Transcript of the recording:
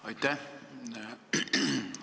Aitäh!